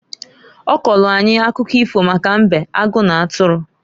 Ọ kọọlụ anyị akụkọ ifo maka mbe, agụ n'atụrụ.